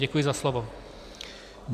Děkuji za slovo.